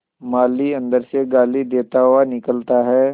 माली अंदर से गाली देता हुआ निकलता है